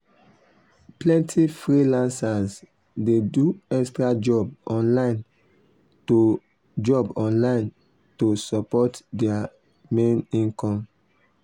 plenty freelancers dey do extra job online to job online to support their main income.